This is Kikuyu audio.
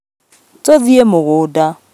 Tũthiĩ mũgũnda